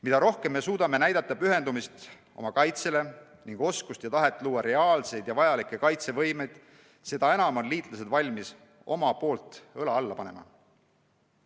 Mida rohkem me suudame näidata pühendumist oma kaitsele ning oskust ja tahet luua reaalseid ja vajalikke kaitsevõimeid, seda enam on liitlased valmis omalt poolt õla alla panema.